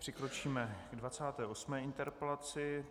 Přikročíme k 28. interpelaci.